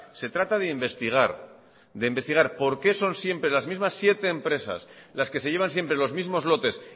se trata de investigar de investigar por qué son siempre las mismas siete empresas las que se llevan siempre los mismos lotes